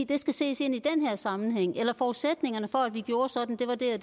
det skal ses i den her sammenhæng eller forudsætningerne for at vi gjorde sådan var det og